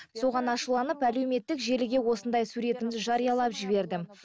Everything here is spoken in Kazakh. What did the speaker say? соған ашуланып әлеуметтік желіге осындай суретімді жариялап жібердім